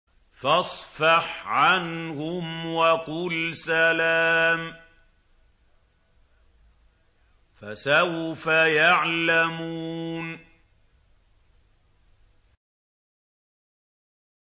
فَاصْفَحْ عَنْهُمْ وَقُلْ سَلَامٌ ۚ فَسَوْفَ يَعْلَمُونَ